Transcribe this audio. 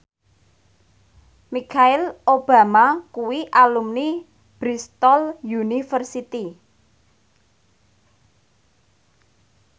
Michelle Obama kuwi alumni Bristol university